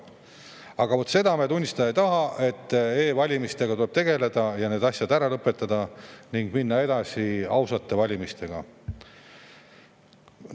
Aga vaat seda me tunnistada ei taha, et e-valimistega tuleb tegeleda, need asjad ära lõpetada ning minna edasi ausate valimistega.